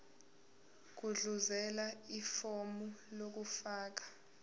gudluzela ifomu lokufaka